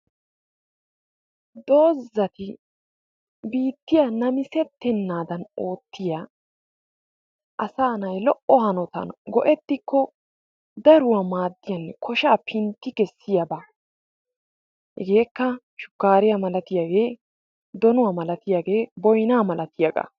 dozati biittiya namissetenaadan oottiya asaa naay maara go'ettikko daruwaa maadiyanne koshshaa pintti kessiyaaba. hegeekka shukaariya malattiyaagee, donnuwa malattiyaagee, boynaa malattiyaagaa.